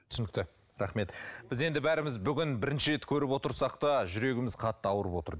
түсінікті рахмет біз енді бәріміз бүгін бірінші рет көріп отырсақ та жүрегіміз қатты ауырып отыр